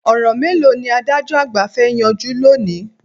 Ọ̀ràn mélòó ni adájọ́ àgbà fẹ́ yanjú lónìí?